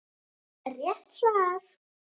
Rétt svar!